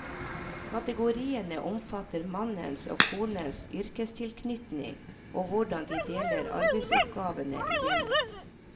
Kategoriene omfatter mannens og konens yrkestilknytning og hvordan de deler arbeidsoppgavene i hjemmet.